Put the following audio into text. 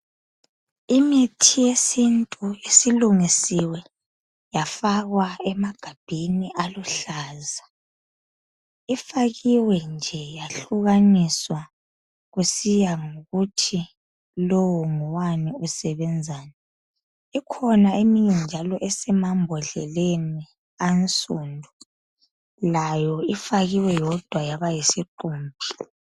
Imithi yesintu isilungisiwe yafakwa emagabheni aluhlaza. Ifakiwe nje yahlukaniswa kusiya ngokuthi lowu ngowani, usebenzani. Ikhona eminye njalo esemambhodleleni ansundu, layo ifakiwe yodwa yaba yisiqumbi.